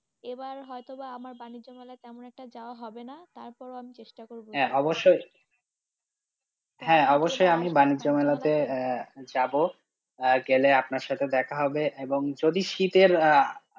এবার হয় তো বা আমার বানিজ্য মেলা তেমন একটা যাওয়া হবে না, তারপর ও আমি চেষ্টা করবো, হ্যাঁ অবশ্য , হ্যাঁ অবশ্যই আমি বানিজ্য মেলা তে যাবো, গেলে আপনার সাথে দেখা হবে, এবং যদি শীতের আঃ.